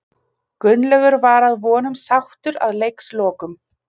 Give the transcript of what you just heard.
Gunnlaugur var að vonum sáttur að leikslokum.